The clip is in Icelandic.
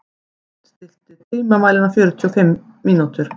Vopni, stilltu tímamælinn á fjörutíu og fimm mínútur.